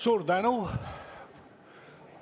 Suur tänu!